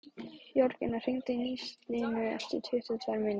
Jörgína, hringdu í Nilsínu eftir tuttugu og tvær mínútur.